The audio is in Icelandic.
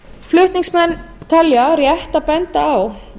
flutningsmenn telja rétt að benda á